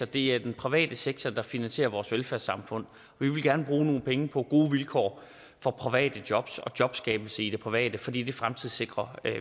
det er den private sektor der finansierer vores velfærdssamfund vi vil gerne bruge nogle penge på gode vilkår for private jobs og jobskabelse i det private fordi det fremtidssikrer